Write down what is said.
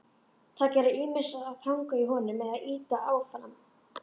Þær gera ýmist að hanga í honum eða ýta áfram.